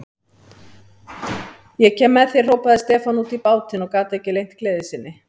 Ég kem með þér, hrópaði Stefán út í bátinn og gat ekki leynt gleði sinni.